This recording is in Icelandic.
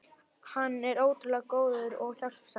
Hann er ótrúlega góður og hjálpsamur.